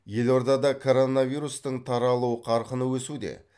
елордада коронавирустың таралу қарқыны өсуде